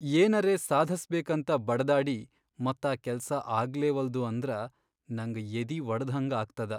ಏನರೆ ಸಾಧಸ್ಬೇಕಂತ ಬಡದಾಡಿ ಮತ್ ಆ ಕೆಲ್ಸ ಆಗ್ಲೇವಲ್ದು ಅಂದ್ರ ನಂಗ್ ಎದಿವಡದ್ಹಂಗಾಗ್ತದ.